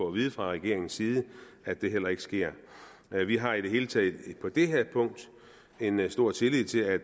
at vide fra regeringens side at det heller ikke sker vi vi har i det hele taget på det her punkt en stor tillid til at